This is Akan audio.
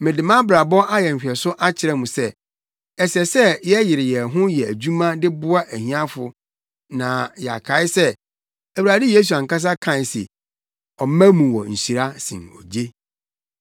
Mede mʼabrabɔ ayɛ nhwɛso akyerɛ mo sɛ, ɛsɛ sɛ yɛyere yɛn ho yɛ adwuma de boa ahiafo na yɛkae sɛ, Awurade Yesu ankasa kae se, ‘Ɔma mu wɔ nhyira sen ogye.’ ”